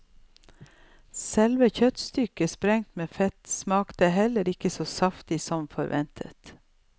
Selve kjøttstykket, sprengt med fett, smakte heller ikke så saftig som forventet.